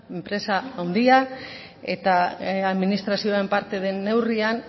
enpresa handia eta administrazioaren parte den neurrian